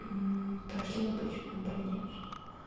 пошли в обычную больницу